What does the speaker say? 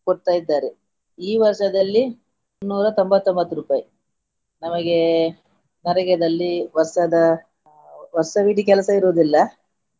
ಕೊಡ್ತಾ ಇದ್ದಾರೆ ಈ ವರ್ಷದಲ್ಲಿ ಇನ್ನೂರ ತೊಂಬತ್ತೊಂಬತ್ತು ರೂಪಾಯಿ ನಮಗೆ ನರೇಗಾದಲ್ಲಿ ವರ್ಷದ ವರ್ಷವಿಡಿ ಕೆಲಸವಿರುವುದಿಲ್ಲ.